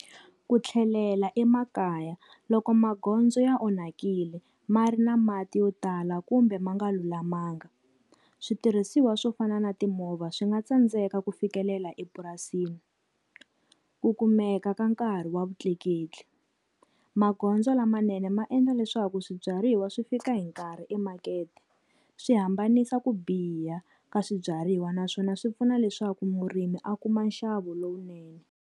Ku tlhelela emakaya, loko magondzo ya onhakile ma ri na mati yo tala kumbe ma nga lulamanga, switirhisiwa swo fana na timovha swi nga tsandzeka ku fikelela epurasini. Ku kumeka ka nkarhi wa vutleketli, magondzo lamanene ma endla leswaku swibyariwa swi fika hi nkarhi emakete, swi hambanisa ku biha ka swibyariwa naswona swi pfuna leswaku murimi a kuma nxavo lowunene.